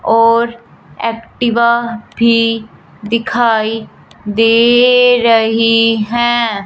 और एक्टिवा भी दिखाई दे रही है।